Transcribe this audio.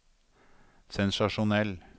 sensasjonell